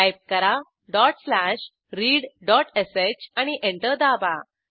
type करा dot slash readshआणि enter दाबा